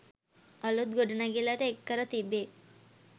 අලුත් ගොඩනැගිල්ලට එක් කර තිබේ.